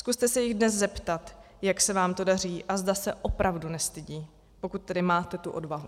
Zkuste se jich dnes zeptat, jak se vám to daří a zda se opravdu nestydí, pokud tedy máte tu odvahu.